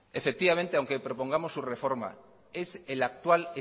efectivamente aunque propongamos su reforma es el actual